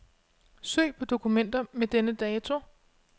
Søg på dokumenter med denne dato.